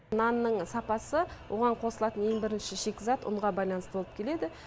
нанның сапасы оған қосылатын ең бірінші шикізат ұнға байланысты болып келеді